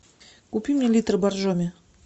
купи мне литр боржоми